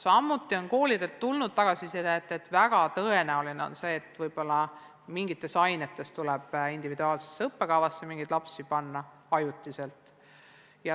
Samuti on koolidelt tulnud tagasisidet, et väga tõenäoliselt tuleb mingites ainetes mõningad lapsed panna ajutiselt individuaalse õppekava järgi õppima.